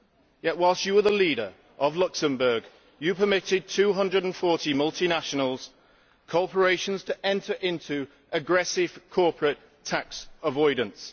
yet, whilst you were the leader of Luxembourg, you permitted 240 multinationals and corporations to enter into aggressive corporate tax avoidance.